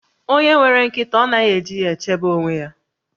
Onye nwere nkịta ọ naghị eji ya echebe onwe ya?